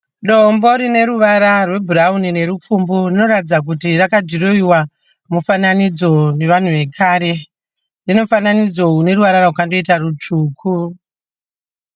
Dombo runeruvara rwebhurauni nerupfumbu rinoratidza kuti rakadhiroiwa mifananidzo nevanhu vekare. Rinomufananidzo runeruvara rwakanoita rutsvuku